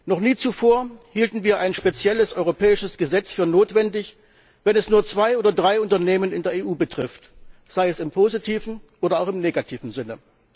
Noch nie zuvor hielten wir ein spezielles europäisches Gesetz für notwendig, wenn es nur zwei oder drei Unternehmen in der EU betrifft, sei es im positiven oder auch im negativen Sinne.